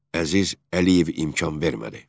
Əziz Əliyev imkan vermədi.